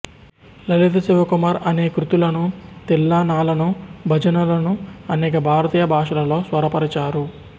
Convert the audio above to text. లలితా శివకుమార్ అనేక కృతులను తిల్లానాలను భజనలను అనేక భారతీయ భాషలలో స్వరపరచారు